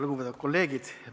Lugupeetud kolleegid!